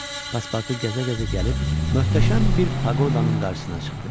Paspartu gəzə-gəzə gəlib möhtəşəm bir paqodanın qarşısına çıxdı.